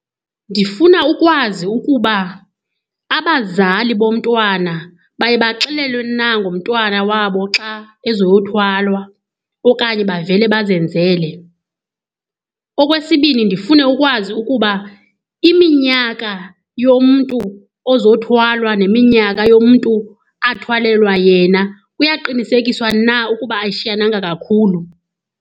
Ndifuna ukwazi ukuba abazali bomntwana baye baxelelwe na ngomntwana wabo xa ezoyothwalwa okanye bavele bazenzele. Okwesibini ndifune ukwazi ukuba iminyaka yomntu ozothwalwa neminyaka yomntu athwalelwa yena, kuyaqinisekiswa na ukuba ayishiyananga kakhulu.